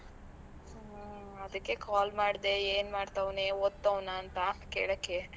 ಹ್ಮ್, ಅದ್ದಕ್ಕೆ call ಮಾಡ್ದೆ ಏನ್ ಮಾಡ್ತಾವ್ನೆ ಓದ್ತೌನ ಅಂತಾ ಕೇಳಕ್ಕೆ?